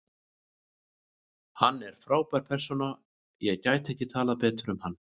Hann er frábær persóna og ég gæti ekki talað betur um hann.